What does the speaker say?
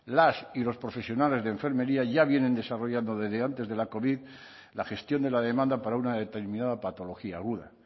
las y los profesionales de enfermería ya vienen desarrollando desde antes de la covid la gestión de la demanda para una determinada patología aguda